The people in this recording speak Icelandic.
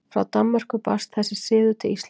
Frá Danmörku barst þessi siður til Íslands.